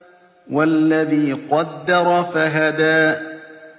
وَالَّذِي قَدَّرَ فَهَدَىٰ